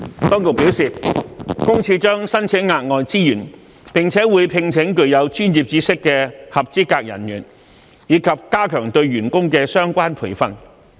當局表示，私隱公署將申請額外資源，並會聘請具有專業知識的合資格人員，以及加強對員工的相關培訓。